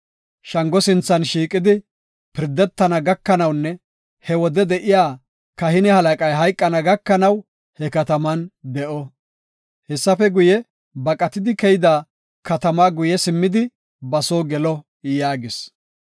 Shango sinthan shiiqidi, pirdetana gakanawunne he wode de7iya kahine halaqay hayqana gakanaw he kataman de7o. Hessafe guye, baqatidi keyida katamaa guye simmidi ba soo gelo” yaagis.